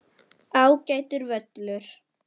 Ágætur völlur.